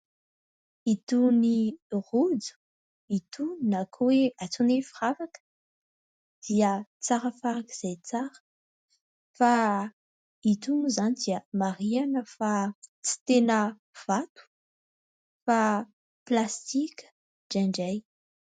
Itony rojo itony na koa hoe antsoina hoe firavaka dia tsara farakizay tsara fa ito moa izany dia marihana fa tsy tena vato fa plastika indraindray.